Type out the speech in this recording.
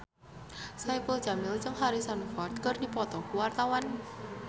Saipul Jamil jeung Harrison Ford keur dipoto ku wartawan